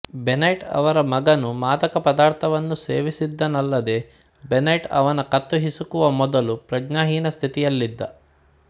Benoit ಅವರ ಮಗನು ಮಾದಕ ಪದಾರ್ಥವನ್ನು ಸೇವಿಸಿದ್ದನಲ್ಲದೇ ಬೆನೈಟ್ ಅವನ ಕತ್ತು ಹಿಸುಕುವ ಮೊದಲು ಪ್ರಜ್ಞಾ ಹೀನಸ್ಥಿತಿಯಲ್ಲಿದ್ದ